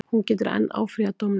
Hún getur enn áfrýjað dómnum